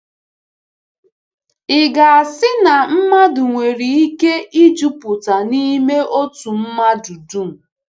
Ị̀ ga-asị na mmadụ nwere ike ‘juputa’ n’ime òtù mmadụ dum?